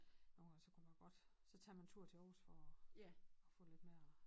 Nogen gange så kunne man godt så tager man en tur til Aarhus for at få lidt mere